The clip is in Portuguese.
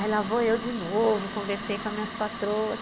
Aí lá vou eu de novo, conversei com as minhas patroas.